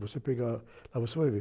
Você pegar, ah, você vai ver.